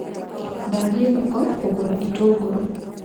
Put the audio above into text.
Ndathiĩ thoko kũgũra itũngũrũ